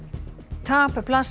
tap blasir